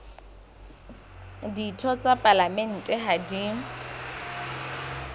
ditho tsa palamente ha di